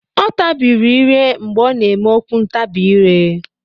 Ọ tabiri ire mgbe ọ na-eme okwu ntabi ire.